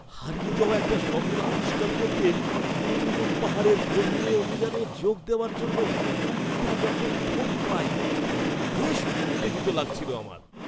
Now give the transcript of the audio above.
হারিয়ে যাওয়া একটা শহর আবিষ্কার করতে কুন লুন পাহাড়ের গভীরে অভিযানে যোগ দেওয়ার জন্য একটা যখন ফোন পাই তখন বেশ উত্তেজিত লাগছিলো আমার।